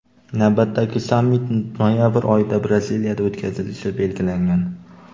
Navbatdagi sammit noyabr oyida Braziliyada o‘tkazilishi belgilangan.